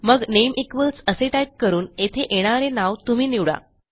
मग name equals असे type करून येथे येणारे नाव तुम्ही निवडा